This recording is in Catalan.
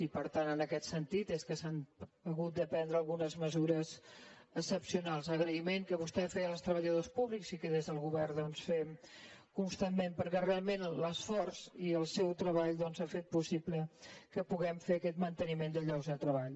i per tant és en aquest sentit que s’han hagut de prendre algunes mesures excepcionals agraïment que vostè feia als treballadors públics i que des del govern doncs fem constantment perquè realment l’esforç i el seu treball han fet possible que puguem fer aquest manteniment de llocs de treball